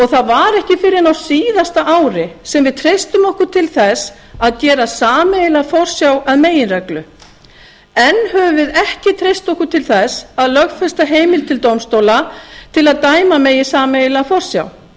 það var ekki fyrr en á síðasta ári sem við treystum okkur til þess að gera sameiginlega forsjá að meginreglu enn höfum við ekki treyst okkur til þess að lögfesta heimild til dómstóla til að dæma megi sameiginlega forsjá